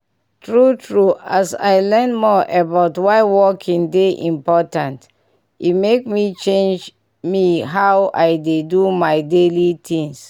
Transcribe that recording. true true as i learn more about why walking dey important e make me change me change how i dey do my daily things.